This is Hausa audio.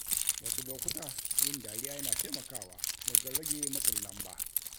Wasu lokuta, yin dariya yana taimakawa wajen rage matsin lamba.